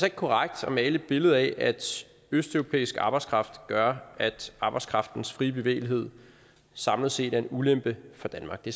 ikke korrekt at male et billede af at østeuropæisk arbejdskraft gør at arbejdskraftens frie bevægelighed samlet set er en ulempe for danmark det